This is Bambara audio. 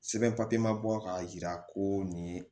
Sɛbɛn papiye ma bɔ k'a jira ko nin ye